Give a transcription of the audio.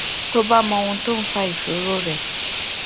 tó bá mọ ohun tó ń fa ìṣòro rè